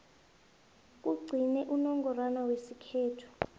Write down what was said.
kugcine unongorwana wesikhethu